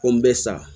Ko n bɛ sa